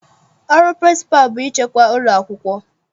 Ọrụ pịrịnsịpalụ bụ ịchịkwa ụlọakwụkwọ.